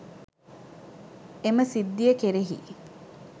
එම සිද්ධිය කෙරෙහි